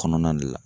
Kɔnɔna de la